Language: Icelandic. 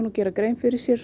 og gera grein fyrir sér